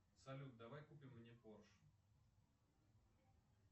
салют давай купим мне порш